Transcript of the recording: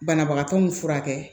Banabagatɔ min furakɛ